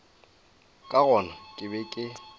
ka gona ke be ke